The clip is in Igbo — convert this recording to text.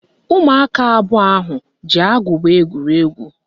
Ụmụaka abụọ ahụ ji agụba egwuri egwu